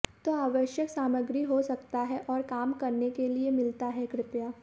तो आवश्यक सामग्री हो सकता है और काम करने के लिए मिलता है कृपया